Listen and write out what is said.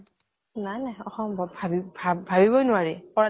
নাই নাই অসম্ভব, ভাবিব ভাব ভাবিবই নোৱাৰি, কৰা